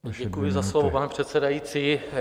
Děkuji za slovo, pane předsedající.